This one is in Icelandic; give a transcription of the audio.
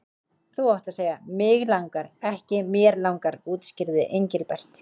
Þú átt að segja mig langar, ekki mér langar útskýrði Engilbert.